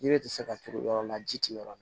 Yiri tɛ se ka turu yɔrɔ la ji ti yɔrɔ min